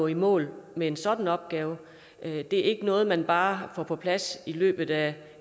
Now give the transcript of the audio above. i mål med en sådan opgave det er ikke noget man bare får på plads i løbet af